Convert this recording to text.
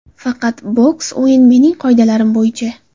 Faqat boks o‘yin mening qoidalarim bo‘yicha.